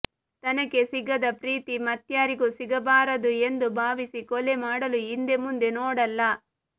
ತನಗೆ ಸಿಗದ ಪ್ರೀತಿ ಮತ್ಯಾರಿಗೂ ಸಿಗಬಾರದು ಎಂದು ಭಾವಿಸಿ ಕೊಲೆ ಮಾಡಲು ಹಿಂದೆ ಮುಂದೆ ನೋಡಲ್ಲ